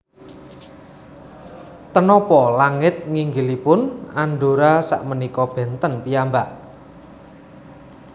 Ten nopo langit nginggilipun Andorra sak menika benten piyambak